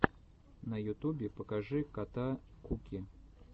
на ютубе покажи кота куки